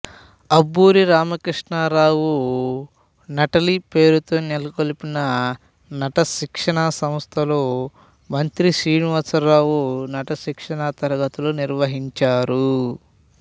అబ్బూరి రామకృష్ణారావు నటాలి పేరుతో నెలకొల్పిన నటశిక్షణ సంస్థలో మంత్రి శ్రీనివాసరావు నట శిక్షణ తరగతులు నిర్వహించారు